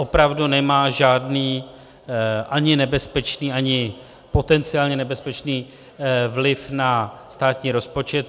Opravdu nemá žádný ani nebezpečný, ani potenciálně nebezpečný vliv na státní rozpočet.